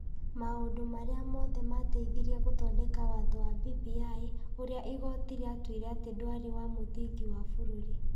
maũndũ marĩa marĩ mothe maateithirie gũthondeka watho wa BBI ũrĩa igooti rĩatuire atĩ ndwarĩ wa mũthingi wa bũrũri.